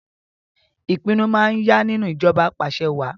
Ìpinnu máa yá nínú ìjọba apàṣẹwàá